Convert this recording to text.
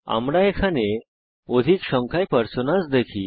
আমরা এখানে অধিক সংখ্যায় পার্সোনাস দেখি